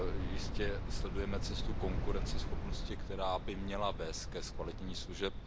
Jistě sledujeme cestu konkurenceschopnosti, která by měla vést ke zkvalitnění služeb.